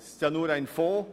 Es ist ja nur ein Fonds.